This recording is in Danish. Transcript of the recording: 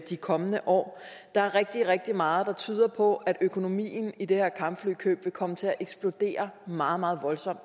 de kommende år der er rigtig rigtig meget der tyder på at økonomien i det her kampflykøb vil komme til at eksplodere meget meget voldsomt